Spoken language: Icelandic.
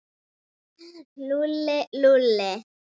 Heyrðu, ég get ekki beðið.